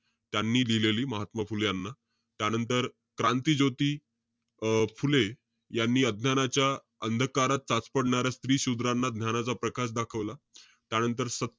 त्यांनी लिहिलेली, महात्मा फुले यांना. त्यानंतर, क्रांतीज्योती अं फुले, यांनी अज्ञानाच्या अंधकारात चाचपडणाऱ्या स्त्री-शूद्रांना ज्ञानाचा प्रकाश दाखवला. त्यानंतर,